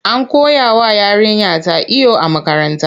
An koyawa yarinyata iyo a makaranta.